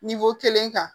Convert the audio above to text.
kelen kan